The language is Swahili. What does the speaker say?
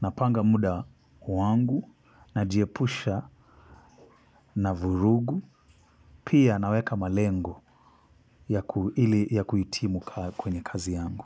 napanga muda wangu na jiepusha na vurugu pia naweka malengo ya kuitimu kwenye kazi yangu.